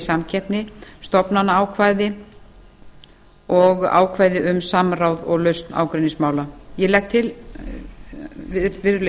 samkeppni stofnanaákvæði og ákvæði um samráð og lausn ágreiningsmála ég legg til virðulegi forseti